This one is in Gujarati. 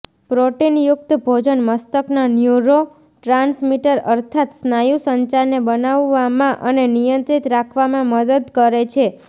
પ્રોટીનયુક્ત ભોજન મસ્તકના ન્યુરો ટ્રાન્સમિટર અર્થાત્ સ્નાયુ સંચારને બનાવવામાં અને નિયંત્રિત રાખવામાં મદદ કરે છે